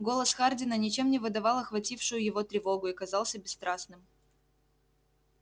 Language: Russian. голос хардина ничем не выдавал охватившую его тревогу и казался бесстрастным